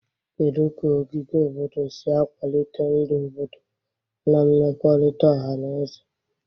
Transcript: Kedu ka ogige obodo si akwalite ndụ obodo na mmekọrịta ọha na eze?